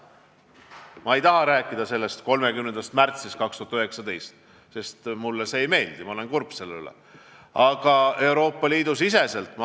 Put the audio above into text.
Ma ei taha rääkida 30. märtsist 2019, sest mulle see ei meeldi, see teeb mind kurvaks.